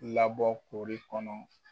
Labɔ kori kɔnɔ.